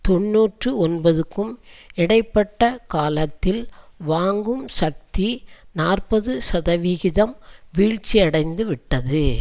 தொன்னூற்றி ஒன்பதுக்கும் இடை பட்ட காலத்தில் வாங்கும் சக்தி நாற்பது சதவீகிதம் வீழ்ச்சியடைந்துவிட்டது